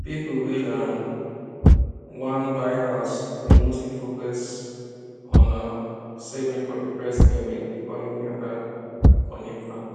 people wey um wan buy house dey mostly focus on um saving for the first payment before any other money plan